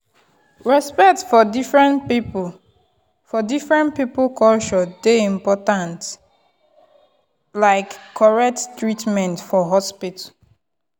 respect for different people for different people culture dey important like correct treatment for hospital.